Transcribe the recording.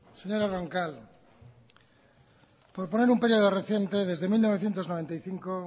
señora roncal por poner un período reciente desde mil novecientos noventa y cinco